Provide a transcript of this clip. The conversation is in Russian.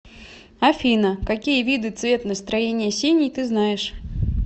афина какие виды цвет настроения синий ты знаешь